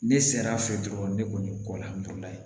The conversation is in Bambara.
Ne sera a fɛ dɔrɔn ne kɔni